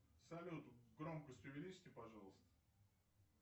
салют громкость увеличьте пожалуйста